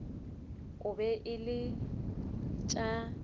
e be e le tša